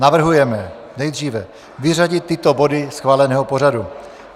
Navrhujeme nejdříve vyřadit tyto body schváleného pořadu: